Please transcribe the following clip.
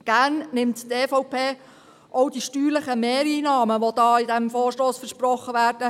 Gerne nimmt die EVP auch die steuerlichen Mehreinnahmen von 40 Mio. Franken entgegen, die in diesem Vorstoss versprochen werden.